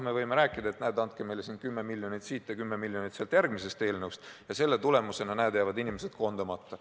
Me võime rääkida, et andke meile kümme miljonit siit ja kümme miljonit sealt järgmisest eelnõust, ja selle tulemusena jäävad inimesed koondamata.